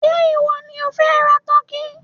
Ṣé ìwọ ni ó fẹ́ ra tọ́kì?